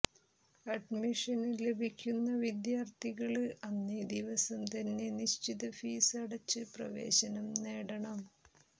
അഡ്മിഷന് ലഭിക്കുന്ന വിദ്യാര്ഥികള് അന്നേ ദിവസം തന്നെ നിശ്ചിത ഫീസ് അടച്ച് പ്രവേശനം നേടണം